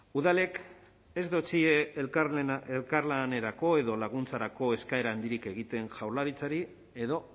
udalek ez dotsie elkarlanerako edo laguntzarako eskaera handirik egiten jaurlaritzari edo